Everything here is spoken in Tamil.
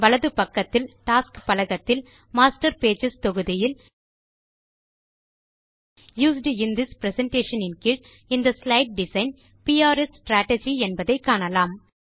வலது பக்கத்தில் டாஸ்க்ஸ் பலகத்தில் மாஸ்டர் பேஜஸ் தொகுதியில் யூஸ்ட் இன் திஸ் பிரசன்டேஷன் ன் கீழ் இந்த ஸ்லைடு டிசைன் பிஆர்எஸ் ஸ்ட்ராட்ஜி என்பதை காணலாம்